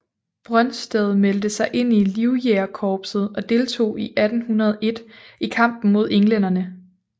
Brøndsted meldte sig ind i Livjægerkorpset og deltog i 1801 i kampen mod englænderne